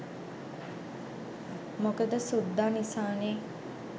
මොකද සුද්දා නිසානේ